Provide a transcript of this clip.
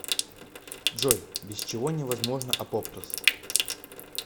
джой без чего не возможно апоптоз